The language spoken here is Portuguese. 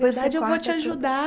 Na verdade, eu vou te ajudar.